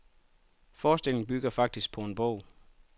Forestillingen bygger faktisk på en bog.